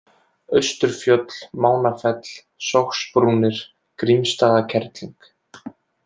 Austurfjöll, Mánafell, Sogsbrúnir, Grímsstaðakerling